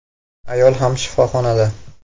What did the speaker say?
Ayol ham shifoxonada.